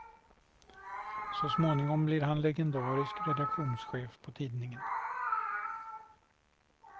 Så småningom blir han legendarisk redaktionschef på tidningen.